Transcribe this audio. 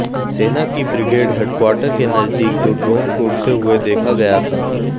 सेना की brigade headquarter के नजदीक दो ड्रोन को उड़ते हुए देखा गया था